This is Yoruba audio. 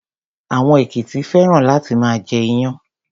Àwọn èkìtì féràn láti máa jẹ iyán.